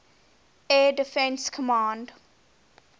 air defense command